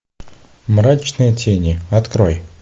мрачные тени открой